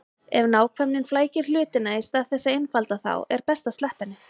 Ef nákvæmnin flækir hlutina í stað þess að einfalda þá er best að sleppa henni.